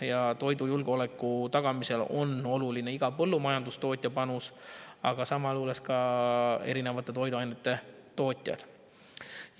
Ja toidujulgeoleku tagamisel on oluline iga põllumajandustootja panus, aga samas ka erinevate toiduainete tootjate panus.